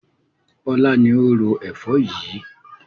Bọlá ni ó ro Ẹ̀fọ́ yìí